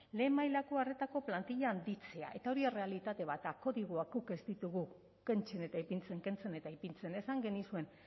lehen mailako arretako plantilla handitzea eta hori errealitate bat da kodigoak guk ez ditugu kentzen eta ipintzen kentzen eta ipintzen esan genizuen